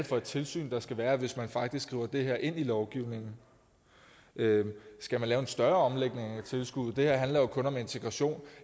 for et tilsyn der skal være hvis man faktisk skriver det her ind i lovgivningen skal man lave en større omlægning af tilskuddet det her handler jo kun om integration